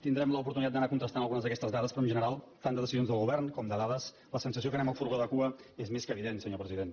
tindrem l’oportunitat d’anar contrastant algunes d’aquestes dades però en general tant de decisions del govern com de dades la sensació que anem al furgó de cua és més que evident senyor president